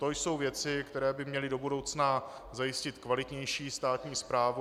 To jsou věci, které by měly do budoucna zajistit kvalitnější státní správu.